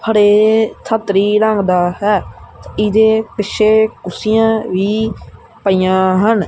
ਹਰੇ ਸੰਤਰੀ ਰੰਗ ਦਾ ਹੈ ਇਹਦੇ ਪਿੱਛੇ ਕੁਰਸੀਆਂ ਵੀ ਪਈਆਂ ਹਨ।